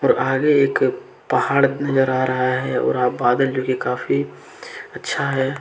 और आगे एक पहाड़ नजर आ रहा है और बादल जो की काफ़ी अच्छा है।